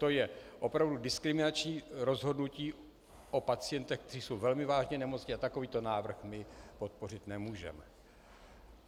To je opravdu diskriminační rozhodnutí o pacientech, kteří jsou velmi vážně nemocní, a takovýto návrh my podpořit nemůžeme.